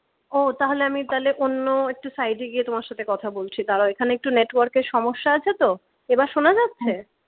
ও তাহলে আমি তালে অন্য একটু side এ গিয়ে তোমার সাথে কথা বলছি দাঁড়াও এখানে একটু network এর সমস্যা আছে তো এবার শোনা যাচ্ছে?